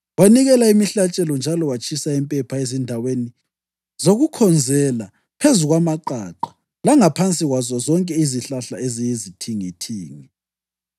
Wanikela imihlatshelo njalo watshisa impepha ezindaweni zokukhonzela phezu kwamaqaqa langaphansi kwazo zonke izihlahla eziyizithingithingi.